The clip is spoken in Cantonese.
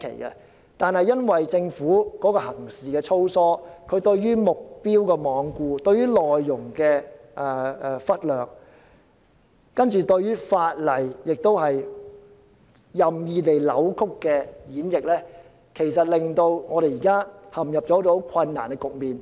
然而，因為政府行事粗疏，罔顧目標，忽略內容，任意扭曲和演繹法例，才令我們現在陷入困難的局面。